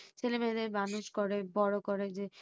ছেলে-মেয়েদের করে বড়ো করে যে